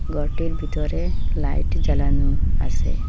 ঘরটির ভিতরে লাইট জ্বালানো আসে।